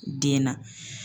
Den na